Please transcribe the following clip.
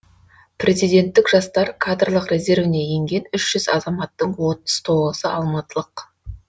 президенттік жастар кадрлық резервіне енген үш жүз азаматтың отыз тоғызы алматылық